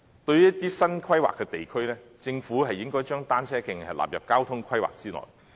對於一些新規劃的地區，政府應該將單車徑納入交通規劃之內。